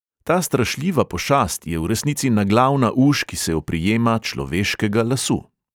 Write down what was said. Ta strašljiva pošast je v resnici naglavna uš, ki se oprijema človeškega lasu.